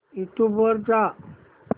YouTube वर जा